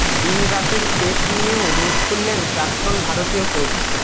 দিন রাতের টেস্ট নিয়েও মুখ খুললেন প্রাক্তন ভারতীয় কোচ